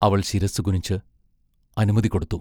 അവൾ ശിരസ്സു കുനിച്ച് അനുമതി കൊടുത്തു.